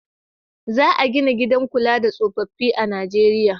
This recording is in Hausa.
Za a gina gidan kula da tsofaffi a Nijeriya.